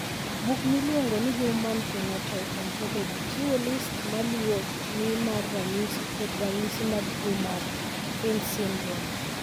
Buk miluongo ni Human Phenotype Ontology chiwo list ma luwoni mar ranyisi kod ranyisi mag tuo mar Fryns syndrome.